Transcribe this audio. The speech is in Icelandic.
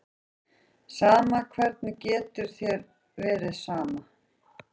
Sama, hvernig getur þér verið sama?